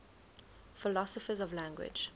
philosophers of language